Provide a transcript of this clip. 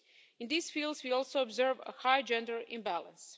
In these fields, we also observe a high gender imbalance.